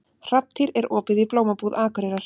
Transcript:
Hrafntýr, er opið í Blómabúð Akureyrar?